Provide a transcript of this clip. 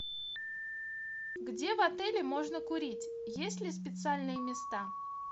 где в отеле можно курить есть ли специальные места